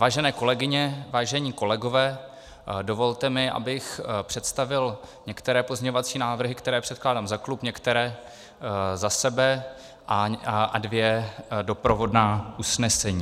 Vážené kolegyně, vážení kolegové, dovolte mi, abych představil některé pozměňovací návrhy, které předkládám za klub, některé za sebe, a dvě doprovodná usnesení.